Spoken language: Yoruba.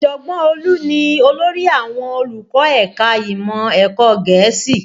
Ọ̀jọ̀gbọ́n Olú ni olórí àwọn olùkọ́ ẹ̀ka ìmọ̀ ẹ̀kọ́ Gẹ̀ẹ́sì